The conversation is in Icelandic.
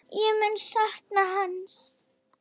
Ég mun sakna hans.